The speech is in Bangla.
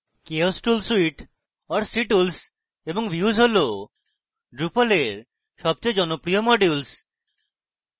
chaos tool suite or ctools এবং views tool drupal এর সবচেয়ে জনপ্রিয় modules